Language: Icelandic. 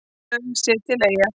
Laug sig til Eyja